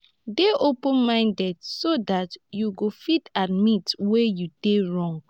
dey open minded so dat you go fit admit where you dey wrong